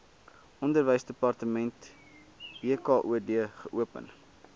onderwysdepartement wkod geopen